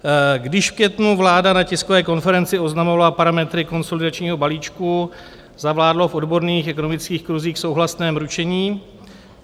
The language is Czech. Když v květnu vláda na tiskové konferenci oznamovala parametry konsolidačního balíčku, zavládlo v odborných ekonomických kruzích souhlasné mručení.